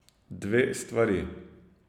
Dve stvari.